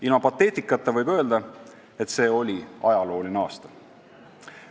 Ilma pateetikata võib öelda, et see oli ajalooline aasta.